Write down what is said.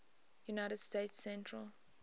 united states central